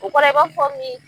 U kɔrɔ ye i b'a fɔ